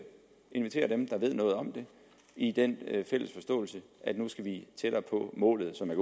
inviterer dem der ved noget om det i den fælles forståelse at nu skal vi tættere på målet som jeg